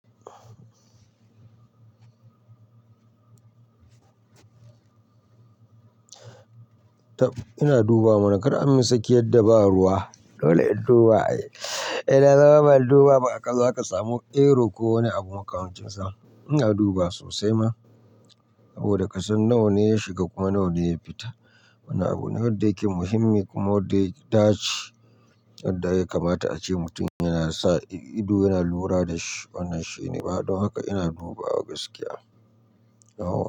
Ina dubawa mana kar a min sakiyadda ba ruwa, dole in duba. Idan zama ba'a duba ba, a ƙasa kaza samu erro ko wani abu makamincinsa. Ina dubawa sosai ma saboda kasan nawa ne ya shiga kuma nawa ne ya fita. Wani abu ne wadda yake muhimmi kuma wadda ya tashi yadda ya kamata a ce mutum yana sa ido yana lura da shi wannan shine. Don haka ina dubawa gaskiya. Nawa.